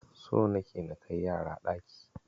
So nake na kai yara ɗaki.